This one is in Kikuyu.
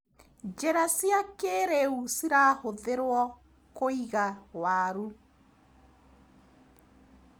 Njĩra cia kĩrĩu cirahũthĩruo kũiga waru.